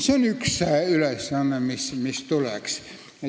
See oli esimese ülesande kohta.